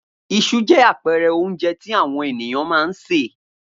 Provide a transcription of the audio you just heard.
Iṣu jẹ́ àpẹẹrẹ oúnjẹ tí àwọn ènìyàn máa ń sè.